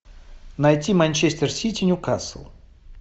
найти манчестер сити ньюкасл